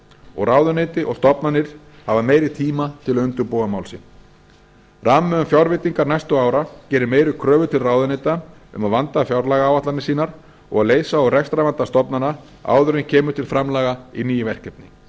og ráðuneyti og stofnanir hafa meiri tíma til að undirbúa mál sín rammi um fjárveitingar næstu ára gerir meiri kröfur til ráðuneyta um að vanda fjárlagaáætlanir sínar og að leysa úr rekstrarvanda stofnana áður en kemur til framlaga í ný verkefni